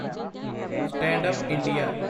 stand up India